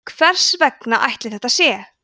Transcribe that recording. hvers vegna ætli þetta sé